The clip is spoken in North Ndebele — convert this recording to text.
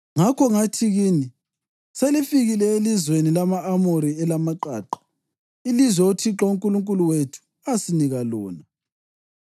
Ngakho ngathi kini, ‘Selifikile elizweni lama-Amori elamaqaqa, ilizwe uThixo uNkulunkulu wethu asinika lona.